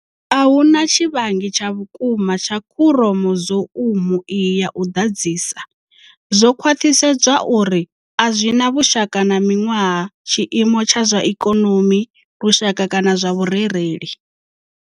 Ahuna tshivhangi tsha vhukuma tsha khuromo zoumu iyi ya u ḓadzisa. Zwo khwaṱhisedzwa uri a zwi na vhushaka na miṅwaha, tshiimo tsha zwa ikonomi, lushaka kana zwa vhurereli.